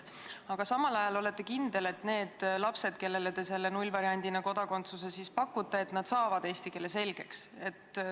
Aga samas olete kindel, et need lapsed, kellele te selle nullvariandina kodakondsuse pakute, saavad eesti keele selgeks.